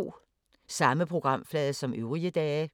Samme programflade som øvrige dage